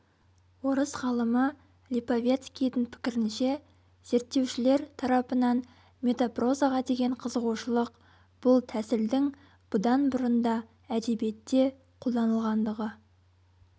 орыс ғалымы липовецкийдің пікірінше зерттеушілер тарапынан метапрозаға деген қызығушылық бұл тәсілдің бұдан бұрын да әдебиетте қолданылғандығы